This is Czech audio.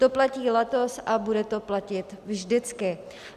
To platí letos a bude to platit vždycky.